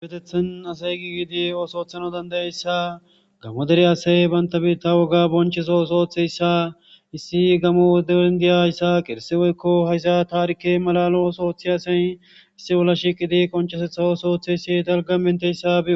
Isipetethen asay giigiidi oosoothano dandayayssa gamo dere asay banta biitta woga bonchiso osooththeyssa issi gamodeindiya yssa qirse weykko haysa taarikke malalo osooththi asay issi wolla shiqidi qonchesetha oosooththe yssi dalga menteyssa bii.